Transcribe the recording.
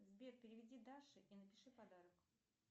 сбер переведи даше и напиши подарок